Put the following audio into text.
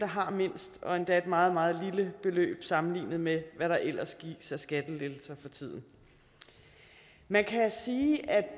har mindst og endda et meget meget lille beløb sammenlignet med hvad der ellers gives af skattelettelser for tiden man